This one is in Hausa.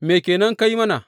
Me ke nan ka yi mana?